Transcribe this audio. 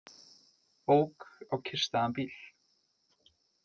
Ók á kyrrstæðan bíl